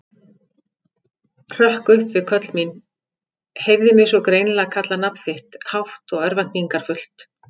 Hrökk upp við köll mín, heyrði mig svo greinilega kalla nafn þitt, hátt og örvæntingarfullt.